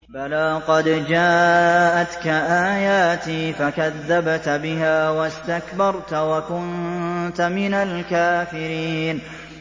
بَلَىٰ قَدْ جَاءَتْكَ آيَاتِي فَكَذَّبْتَ بِهَا وَاسْتَكْبَرْتَ وَكُنتَ مِنَ الْكَافِرِينَ